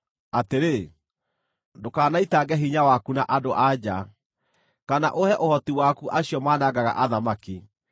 atĩrĩ, ndũkanaitange hinya waku na andũ-a-nja, kana ũhe ũhoti waku acio manangaga athamaki.